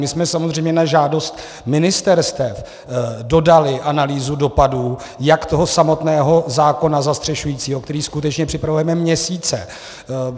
My jsme samozřejmě na žádost ministerstev dodali analýzu dopadů jak toho samotného zákona zastřešujícího, který skutečně připravujeme měsíce.